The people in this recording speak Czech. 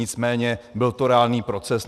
Nicméně byl to reálný proces.